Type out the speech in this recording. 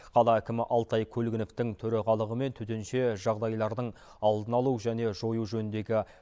қала әкімі алтай көлгіновтің төрағалығымен төтенше жағдайлардың алдын алу және жою жөніндегі